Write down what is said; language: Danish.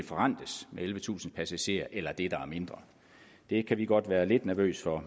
forrentes med ellevetusind passagerer eller det der er mindre det kan vi godt være lidt nervøse for